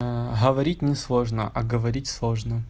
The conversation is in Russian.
говорить не сложно а говорить сложно